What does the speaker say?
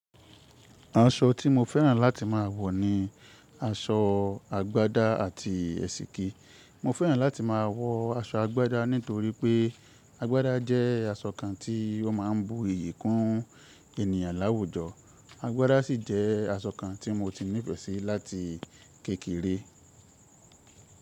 Aṣọ tí mo fẹ́ràn láti má wọ ni aṣọ àgbádá àti èsìkí. Mo fẹ́ràn láti má a wọ aṣọ àgbádá nítorí pé àgbádá jẹ́ aṣọ kan tí ó ma ń bu iyì kún ènìyàn láwùjọ. Àgbádá sì jẹ́ aṣọ kan tí mo ti nífẹ̀ẹ́ sí láti kékeré.